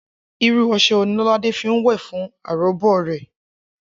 Irú o̩s̩e̩ wo ni Ló̩ládé fi ń wè̩ fún aròbó rè̩?